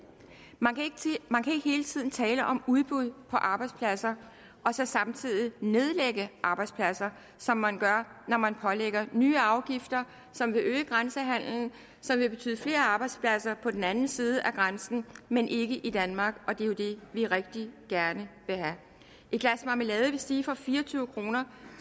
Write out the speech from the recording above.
man kan ikke hele tiden tale om udbud af arbejdspladser og så samtidig nedlægge arbejdspladser som man gør når man pålægger nye afgifter som vil øge grænsehandelen som vil betyde flere arbejdspladser på den anden side af grænsen men ikke i danmark og det er jo det vi rigtig gerne vil have et glas marmelade vil stige fra fire og tyve kroner